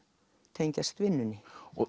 tengjast vinnunni